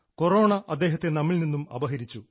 corona അദ്ദേഹത്തെ നമ്മിൽ നിന്നും അപഹരിച്ചു